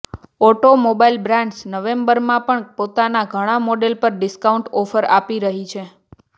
automobile brands નવેમ્બરમાં પણ પોતાના ઘણાં મોડેલ પર ડિસ્કાઉન્ટ ઓફર આપી રહી છે